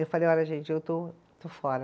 Eu falei, olha gente, eu estou, estou fora.